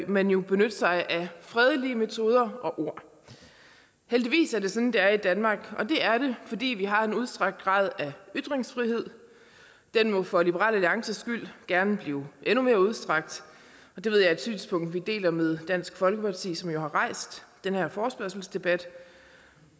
man jo benytte sig af fredelige metoder og ord heldigvis er det sådan det er i danmark og det er det fordi vi har en udstrakt grad af ytringsfrihed den må for liberal alliances skyld gerne blive endnu mere udstrakt og det ved jeg er et synspunkt som vi deler med dansk folkeparti som jo har rejst den her forespørgselsdebat